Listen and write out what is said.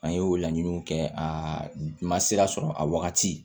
An ye o laɲiniw kɛ a ma sira sɔrɔ a wagati